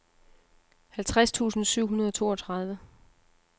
halvtreds tusind syv hundrede og toogtredive